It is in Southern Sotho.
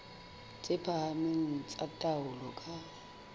tse phahameng tsa taolo ka